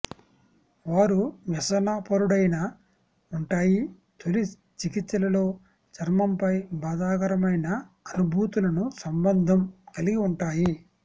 వారు వ్యసనపరుడైన ఉంటాయి తొలి చికిత్సలలో చర్మంపై బాధాకరమైన అనుభూతులను సంబంధం కలిగి ఉంటాయి